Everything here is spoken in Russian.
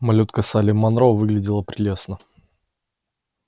малютка салли манро выглядела прелестно